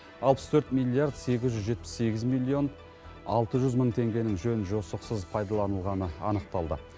алпыс төрт миллиард сегіз жүз жетпіс сегіз миллион алты жүз мың теңгенің жөн жосықсыз пайдаланылғаны анықталды